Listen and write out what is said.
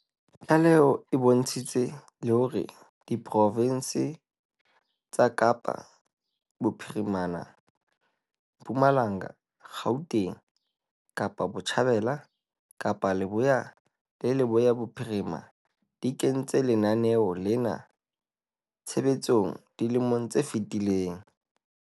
Tlaleho e bontshitse le hore diprofense tsa Kapa Bophirima, Mpumalanga, Gauteng, Kapa Botjhabela, Kapa Leboya le Leboya Bophirima di kentse lenaneo lena tshebetsong dilemong tse fetileng.